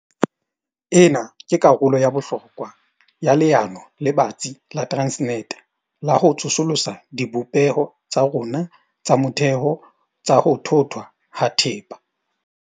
Ena ke karolo ya bohlokwa ya leano le batsi la Transnet la ho tsosolosa dibopeho tsa rona tsa motheo tsa ho thothwa ha thepa.